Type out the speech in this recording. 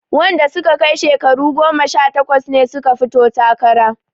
Wanda suka kai shekaru goma sha takwas ne suka fito takara